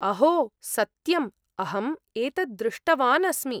अहो सत्यम्! अहम् एतद् दृष्टवान् अस्मि।